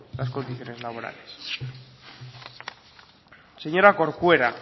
las condiciones laborales señora corcuera